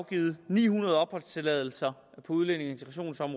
givet ni hundrede opholdstilladelser på udlændinge